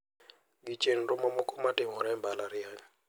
Gi chenro mamoko ma timore e mbalariany.